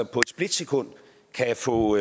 på et splitsekund kan få